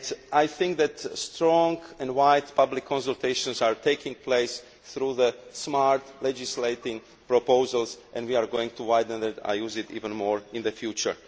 ago. I think that strong and wide public consultations are taking place through the smart legislating proposals. We will widen this and use it even more in the future.